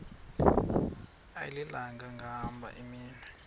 ayilinga gaahanga imenywe